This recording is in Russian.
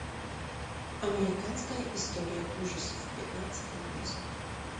американская история ужасов пятнадцатый эпизод